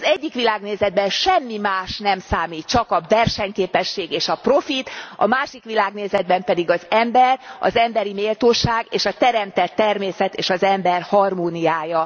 Az egyik világnézetben semmi más nem számít csak a versenyképesség és a profit, a másik világnézetben pedig az ember, az emberi méltóság és a teremtett természet és az ember harmóniája.